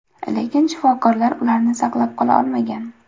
Lekin shifokorlar ularni saqlab qola olmagan.